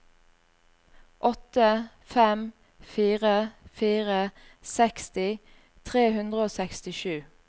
åtte fem fire fire seksti tre hundre og sekstisju